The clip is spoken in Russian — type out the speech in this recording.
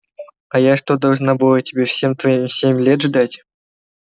а я что должна была тебя все твои семь лет тебя ждать